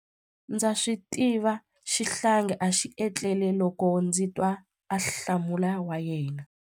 Ndza swi tiva xihlangi a xi etlele loko ndzi twa ahlamulo wa yena.